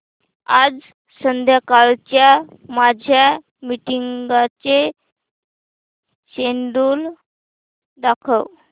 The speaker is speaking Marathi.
आज संध्याकाळच्या माझ्या मीटिंग्सचे शेड्यूल दाखव